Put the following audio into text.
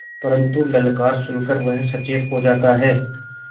परन्तु ललकार सुन कर वह सचेत हो जाता है